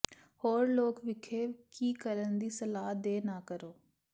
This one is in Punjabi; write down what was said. ਹੋਰ ਲੋਕ ਇੱਥੇ ਕੀ ਕਰਨ ਦੀ ਸਲਾਹ ਦੇ ਨਾ ਕਰੋ